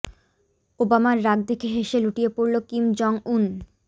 ওবামার রাগ দেখে হেসে লুটিয়ে পড়ল কিম জং উন